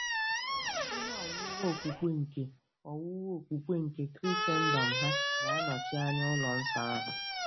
Ihe owuwu okpukpe nke owuwu okpukpe nke Krisendọm hà ga-anọchi anya ụlọ nsọ ahụ?